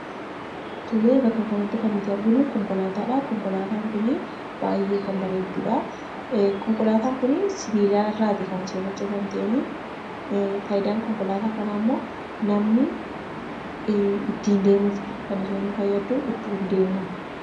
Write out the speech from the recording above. Tole, bakka kanatti kan nuti arginu konkolaataadha. Konkolaataan kun baayyee kan bareeddudha. Konkolaataan kun sibiilarraati kan hojjatamteen fayidaan konkolaataa kanaammoo, namni ittiin deemuufidha. Kan isheen nu fayyaddu ittiin deemuufi.